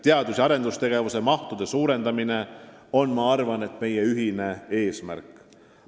Teadus- ja arendustegevuse mahtude suurendamine on, ma arvan, meie ühine eesmärk.